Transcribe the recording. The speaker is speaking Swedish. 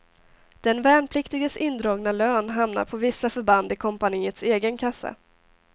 Den värnpliktiges indragna lön hamnar på vissa förband i kompaniets egen kassa.